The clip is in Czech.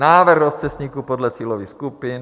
Návrh rozcestníku podle cílových skupin.